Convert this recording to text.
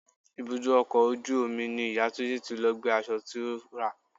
Ibùdó ọkọ̀ ojú omi ni ìyá Túnjí tí lọ gbé aṣọ tí ó rà.